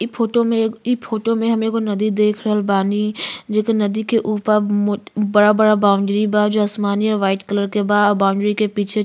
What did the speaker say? इ फोटो में एक इ फोटो में हम एगो नदी देख रहल बानी जो कि नदी के ऊपर मोट बड़ा बड़ा बाउंड्री बा जो आसमानी और वाइट कलर के बा और बाउंडरी के पीछे --